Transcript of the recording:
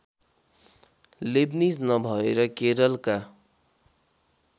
Leibniz नभएर केरलका